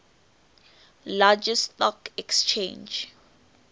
largest stock exchange